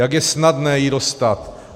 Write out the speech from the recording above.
Jak je snadné ji dostat!